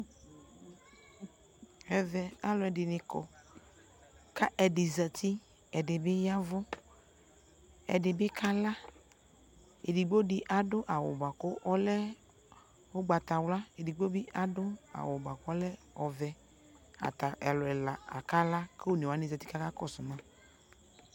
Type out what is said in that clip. akayɛ Ghana ayi ɔdʋ kɛtʋ kʋ akɛ bʋɛlɛ, alʋɛdini kakɔsʋ ɛbʋɛlɛ, awʋ wani adʋɛ mʋa ,ayɔ Ghana ayiɔ ɔdʋkɛtʋ ayiɔ ɔvlɛ la yɔ wlɛ, ɛbʋɛlɛ mabʋamʋ kpa nabʋɛ